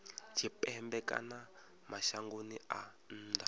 tshipembe kana mashangoni a nnḓa